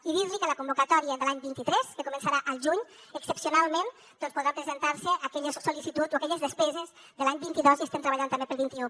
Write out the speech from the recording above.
i dir li que la convocatòria de l’any vint tres que començarà al juny excepcionalment podran presentar se aquelles sol·licituds o aquelles despeses de l’any vint dos i estem treballant també per al vint un